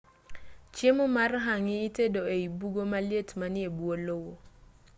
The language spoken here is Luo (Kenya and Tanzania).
chiemo mar hangi itedo ei bugo maliet manie bwo lowo